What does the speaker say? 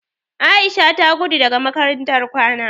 Aisha ta gudo daga makarantar kwana.